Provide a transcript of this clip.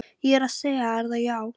Ég er að segja þér það, já.